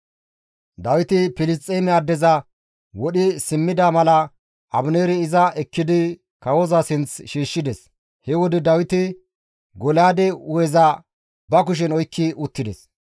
Dawiti Filisxeeme addeza wodhi simmida mala Abineeri iza ekkidi kawoza sinth shiishshides. He wode Dawiti Golyaade hu7eza ba kushen oykki uttides.